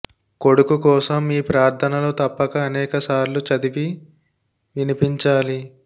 కొడుకు కోసం ఈ ప్రార్ధనలు తప్పక అనేక సార్లు చదివి వినిపించాలి